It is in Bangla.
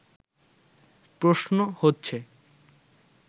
প্রশ্ন হচ্ছে